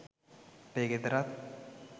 අපේ ගෙදරත්